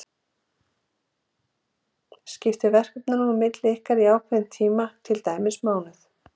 Skiptið verkefnunum á milli ykkar í ákveðinn tíma, til dæmis mánuð.